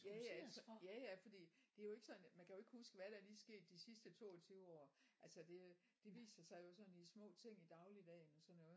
Jaja jaja fordi det er jo ikke sådan at man kan jo ikke huske hvad er der lige sket de sidste 22 år altså det det viser sig jo i små ting i dagligdagen og sådan noget